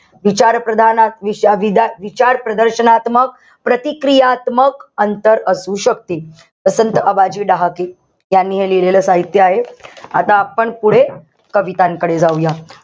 विचारप्रधाना आ विदा विचार प्रदर्शनात्मक, प्रतिक्रियात्मक अंतर असू शकते. त्यांनी हे लिहिलेलं साहित्य आहे. आता आपण पुढे कवितांकडे जाऊया.